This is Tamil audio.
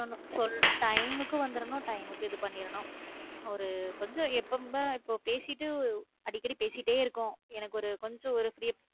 time க்கு வந்தரனும் time க்கு இது பன்னிரனும் ஒரு கொஞ்சம் யப்போ கூட~ இப்போ பேசிட்டு அடிக்கடி பேசிட்டே இருக்கும் எனக்கு ஒரு கொஞ்சம் ஒரு